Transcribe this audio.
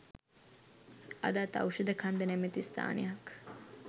අදත් ඖෂධ කන්ද නැමති ස්ථානයක්